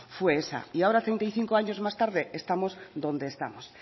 fue esa y ahora treinta y cinco año más tarde estamos donde estamos